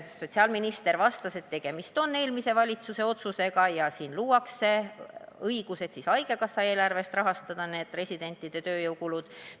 Sotsiaalminister vastas, et tegemist on eelmise valitsuse otsusega ja luuakse õigus haigekassa eelarvest residentide tööjõukulusid rahastada.